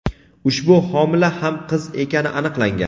ushbu homila ham qiz ekani aniqlangan.